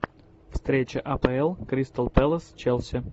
встреча апл кристал пэлас челси